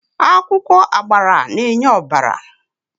Akwụkwọ agbara na-enye ọbara.